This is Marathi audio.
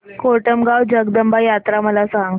कोटमगाव जगदंबा यात्रा मला सांग